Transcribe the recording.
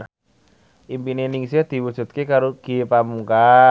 impine Ningsih diwujudke karo Ge Pamungkas